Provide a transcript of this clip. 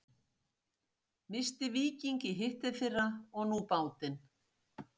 Missti Víking í hitteðfyrra og nú bátinn.